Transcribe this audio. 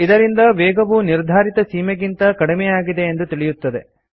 ಇದರಿಂದ ವೇಗವು ನಿರ್ಧಾರಿತ ಸೀಮೆಗಿಂತ ಕಡಿಮೆಯಾಗಿದೆ ಎಂದು ತಿಳಿಯುತ್ತದೆ